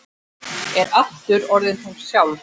Er aftur orðin hún sjálf.